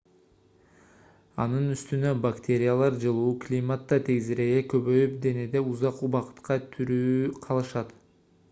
анын үстүнө бактериялар жылуу климатта тезирээк көбөйүп денеде узак убакытка тирүү калышат